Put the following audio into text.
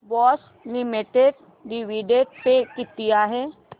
Bosch limited dividend pay किती आहे